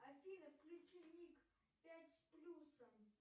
афина включи мик пять с плюсом